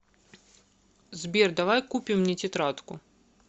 сбер давай купим мне тетрадку